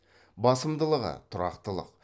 басымдылығы тұрақтылық